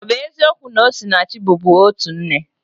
Ọ bụ eziokwu na Osinachi bubu otu nne?